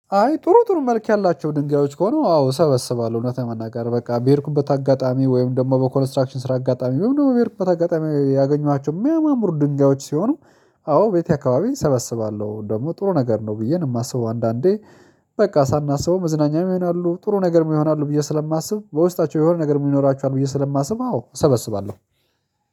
አይ ጥሩ ጥሩ መልክ ያላቸው ድንጋዮች ከሆኑ አዎ ሰበስባለሁ እውነት ለመናገር በቃ በሄድኩበት አጋጣሚ ወይም ደግሞ በኮንስትራክሽን ስራ አጋጣሚ ወይም ደግሞ በርካታ አጋጣሚ ያገኟቸው የሚያማምሩ ድንጋዮች ሲሆኑ አዎ ቤቴ አካባቢ እሰበስባለሁ ደግሞ ጥሩ ነገር ነው ብዬ ነው የማስበው አንዳንዴ በቃ ሳናስበው መዝናኛም ይሆናሉ ጥሩ ነገርም ይሆናሉ ብዬ ስለማስብ በውስጣቸው የሆነ ነገር ምን ይኖራችኋል? ብዬ ስለማስብ አዎ እሰበስባለሁ።